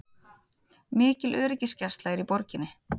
Mikil öryggisgæsla er í borginni